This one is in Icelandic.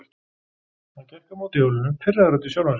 Hann gekk að mótorhjólinu, pirraður út í sjálfan sig.